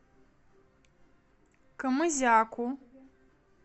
камызяку